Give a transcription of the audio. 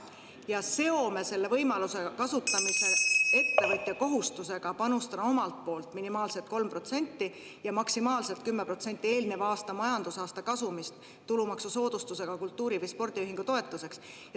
Ja seome selle võimaluse kasutamise ettevõtja kohustusega panustada omalt poolt minimaalselt 3% ja maksimaalselt 10% eelneva aasta majandusaasta kasumist tulumaksusoodustusega kultuuri- või spordiühingu toetuseks.